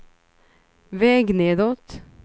väg nedåt